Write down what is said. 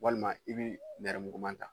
Walima i bɛ nɛrɛmuguma ta